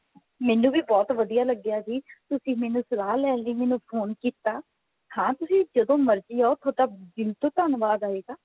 ਮੈਨੂੰ ਵੀ ਬਹੁਤ ਵਧੀਆ ਲੱਗਿਆ ਜੀ ਤੁਸੀਂ ਮੈਨੂੰ ਸਲਾਹ ਲੈਣ ਲਈ ਮੈਨੂੰ phone ਕੀਤਾ ਹਾਂ ਤੁਸੀਂ ਜਦੋ ਮਰਜੀ ਆਓ ਥੋਡਾ ਦਿਲ ਤੋਂ ਧੰਨਵਾਦ ਆਏਗਾ